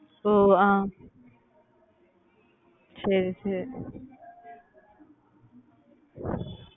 ஒஹ் அஹ் சரி சரி